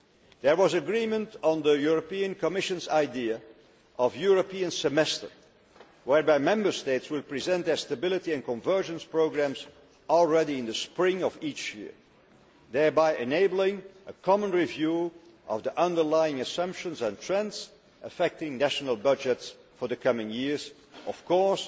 There was agreement on the European Commission's idea of the European semester', whereby Member States will present their stability and convergence programmes by the spring of each year, thereby enabling a common review of the underlying assumptions and trends affecting national budgets for the coming years of course,